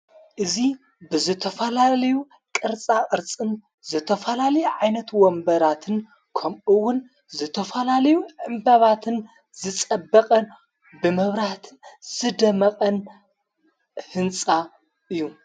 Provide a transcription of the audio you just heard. እዙ ብዘተፈላልዩ ቕርጻ ቕርጽን ዘተፈላሊ ዓይነትዎንበራትን ኸምኡውን ዘተፈላልዩ ዕምበባትን ዝጸበቐን ብመብራህትን ዝደመቐን ሕንጻ እዩ።